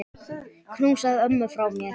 Knúsaðu ömmu frá mér.